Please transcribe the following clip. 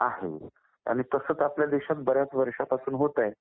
आहे आणि तसं तर आपल्या देशात बऱ्याच वर्षांपासून होत आहे.